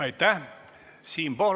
Aitäh!